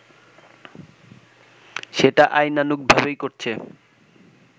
সেটা আইনানুগভাবেই করছে